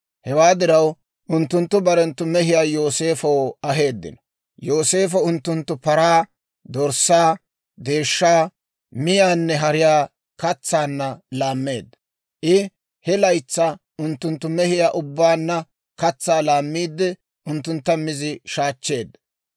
Hewaa diraw unttunttu barenttu mehiyaa Yooseefow aheeddino. Yooseefo unttunttu paraa, dorssaa, deeshshaa, miyaanne hariyaa katsanna laammeedda; I he laytsaa unttunttu mehiyaa ubbaanna katsaa laammiidde unttuntta mizi shaachcheedda.